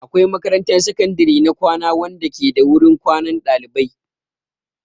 Akwai makarantar sakandare na kwana wanda ke da wurin kwanan ɗalibai.